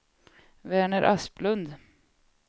Verner Asplund